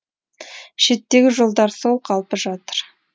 шеттегі жолдар сол қалпы жатыр